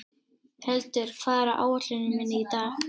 Hildur, hvað er á áætluninni minni í dag?